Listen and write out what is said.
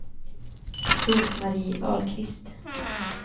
Rose-Marie Ahlqvist